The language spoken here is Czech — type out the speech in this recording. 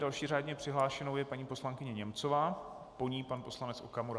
Další řádně přihlášenou je paní poslankyně Němcová, po ní pan poslanec Okamura.